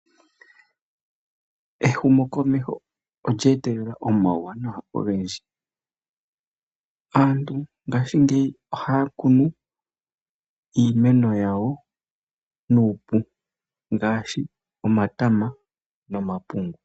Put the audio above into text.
Ehumo komeho olyeetele omauwanawa ogendji aantu ngaashi ngeyi ohaa Kunu iimeno yawo nuupu ngaashi, omatama nomapungu.